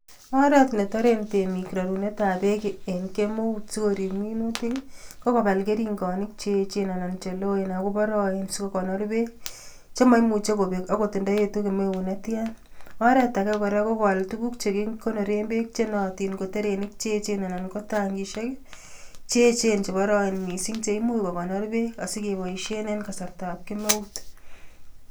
Oret ne toren temik rarunetab beek en kemeut sikorip minutik ii, ko kobal keringonik che echen anan che loen akoboroen sikokonor beek, che maimuchi kobek akot ndoetu kemeut ne tian, oret ake kora ko koal tukuk che kikonoren beek che nootin ko trerenik che echen anan ko tangisiek ii, che echen che boroen mising cheimuch kokonor beek asikeboisien en kasartab kemeut.